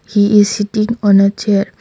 he is sitting on a chair.